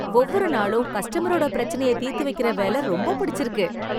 ஒவ்வொரு நாளும் கஸ்டமரோட பிரச்சனையை தீர்த்து வைக்கிற வேல ரொம்ப புடிச்சிருக்கு.